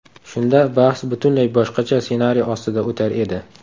Shunda bahs butunlay boshqacha ssenariy ostida o‘tar edi.